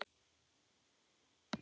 Þessu fylgdi fljótt önnur frétt